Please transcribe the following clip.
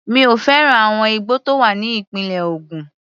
Mi ò fẹ́ràn àwọn igbó tó wà ní ìpínlẹ̀ Ògùn.